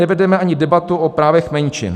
Nevedeme ani debatu o právech menšin.